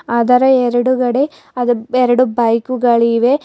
ಆದರ ಎರಡುಗಡೆ ಅದು ಎರಡು ಬೈಕುಗಳಿವೆ.